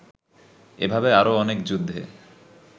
এভাবে আরও অনেক যুদ্ধে